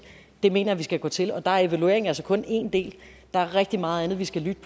det mener jeg at vi skal gå til og der er evalueringer altså kun en del der er rigtig meget andet vi skal lytte